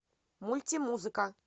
мультимузыка